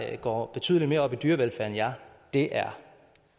jeg går betydelig mere op i dyrevelfærd end jer det er